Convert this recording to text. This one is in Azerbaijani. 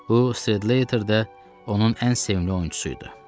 Bu Sled Later də onun ən sevimli oyunçusu idi.